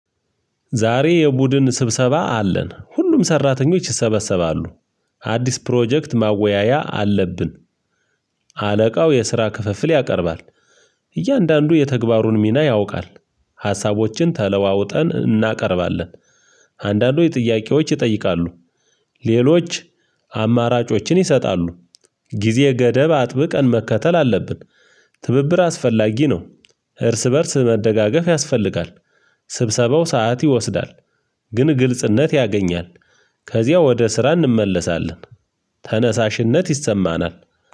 ዛሬ የቡድን ስብሰባ አለን ሁሉም ሰራተኞች ይሰበሰባሉ። አዲስ ፕሮጀክት ማወያያ አለብን። አለቃው የስራ ክፍፍል ያቀርባል። እያንዳንዱ የተግባሩን ሚና ያውቃል። ሀሳቦችን ተለዋውጠን እናቀርባለን። አንዳንዶች ጥያቄዎች ይጠይቃሉ። ሌሎች አማራጮችን ይሰጣሉ። ጊዜ ገደብ አጥብቀን መከተል አለብን። ትብብር አስፈላጊ ነው። እርስ በእርስ መደጋገፍ ያስፈልጋል። ስብሰባው ሰዓት ይወስዳል። ግን ግልጽነት ያገኛል። ከዚያ ወደ ስራ እንመለሳለን። ተነሳሽነት ይሰማናል።